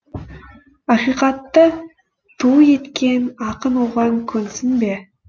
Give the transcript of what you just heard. ақиқатты ту еткен ақын оған көнсін бе